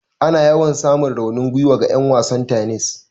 Ana yawan samun raunin gwiwa ga 'yan wasan tennis.